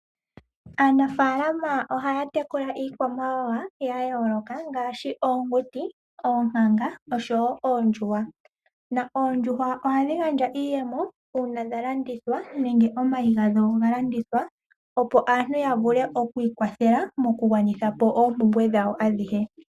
Aanafalama oha ya tekula iikwamawawa ya yooloka ngaashi oonguti, oonkanga oshowo oondjuhwa. Oondjuhwa oha dhi gandja iiyemo uuna dha landithwa nenge omayi gadho ga landithwa opo aantu ya vule okwiikwathela mokugwanithapo oompumbwe dhawo adhihe.